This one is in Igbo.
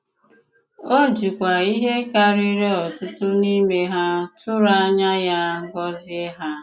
O jìkwa ihé kàrìrì ọ̀tùtù n'ime hà tụrụ ànyà ya gọzie hà.